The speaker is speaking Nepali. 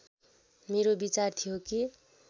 मेरो विचार थियो कि